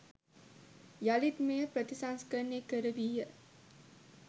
යළිත් මෙය ප්‍රතිසංස්කරණය කරවීය.